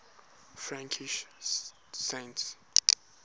frankish saints